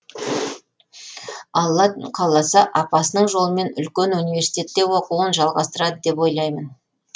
алла қаласа апасының жолымен үлкен университетте оқуын жалғастырады деп ойлаймын